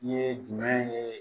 I ye jumɛn ye